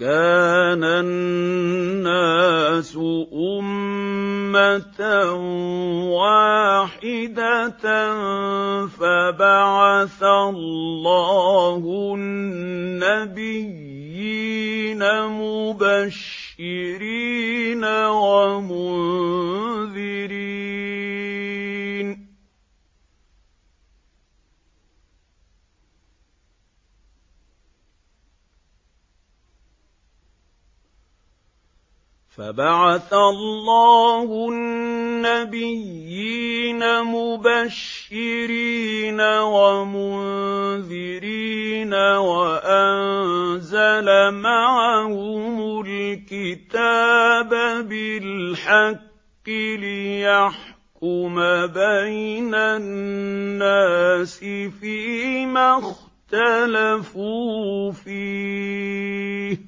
كَانَ النَّاسُ أُمَّةً وَاحِدَةً فَبَعَثَ اللَّهُ النَّبِيِّينَ مُبَشِّرِينَ وَمُنذِرِينَ وَأَنزَلَ مَعَهُمُ الْكِتَابَ بِالْحَقِّ لِيَحْكُمَ بَيْنَ النَّاسِ فِيمَا اخْتَلَفُوا فِيهِ ۚ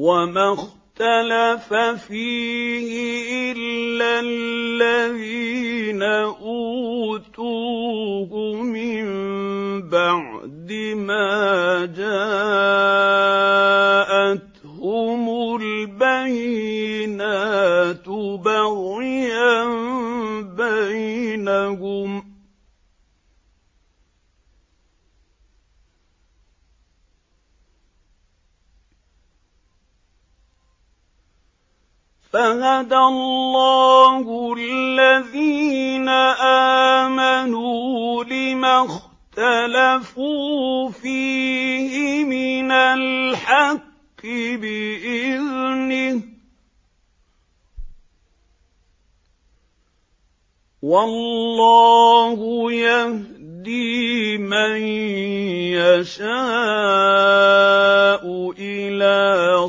وَمَا اخْتَلَفَ فِيهِ إِلَّا الَّذِينَ أُوتُوهُ مِن بَعْدِ مَا جَاءَتْهُمُ الْبَيِّنَاتُ بَغْيًا بَيْنَهُمْ ۖ فَهَدَى اللَّهُ الَّذِينَ آمَنُوا لِمَا اخْتَلَفُوا فِيهِ مِنَ الْحَقِّ بِإِذْنِهِ ۗ وَاللَّهُ يَهْدِي مَن يَشَاءُ إِلَىٰ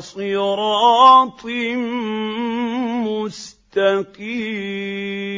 صِرَاطٍ مُّسْتَقِيمٍ